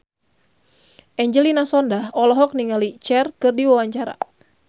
Angelina Sondakh olohok ningali Cher keur diwawancara